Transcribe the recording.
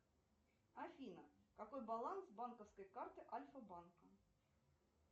афина какой баланс банковской карты альфа банка